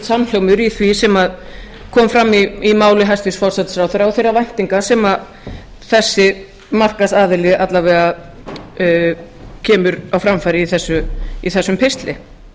samhljómur í því sem kom fram í máli hæstvirts forsætisráðherra og þeirra væntinga sem þessi markaðsaðili alla vega kemur á framfæri í þessum pistli